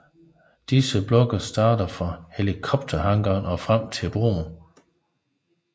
Disse blokke starter fra helikopterhangaren og frem til broen